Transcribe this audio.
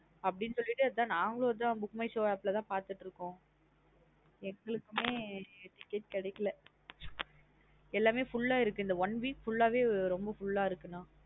அப்டின்னு சொலிட்டு அதான் நாங்கல்லும் அதன் book my show app ல பாத்துட்டு இருக்கோம் . எங்களுக்குமே ticket கிடைக்கலா. எல்லாமே full ஆ இருக்கு இந்த one week full ஆ வே romba full ஆ இருக்கு நா அ.